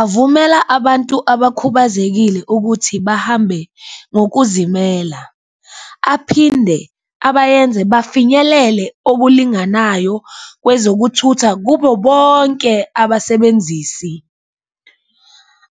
Avumela abantu abakhubazekile ukuthi bahambe ngokuzimela aphinde abayenze bafinyelele okulinganayo kwezokuthutha kubo bonke abasebenzisi,